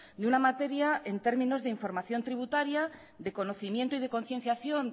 de una materia en términos de información tributaria de conocimiento y de concienciación